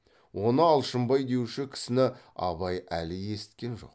оны алшынбай деуші кісіні абай әлі есіткен жоқ